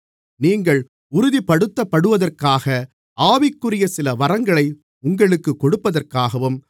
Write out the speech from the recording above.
நீங்கள் உறுதிப்படுத்தப்படுவதற்காக ஆவிக்குரிய சில வரங்களை உங்களுக்குக் கொடுப்பதற்காகவும்